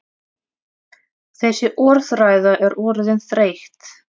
Þessi orðræða er orðin þreytt!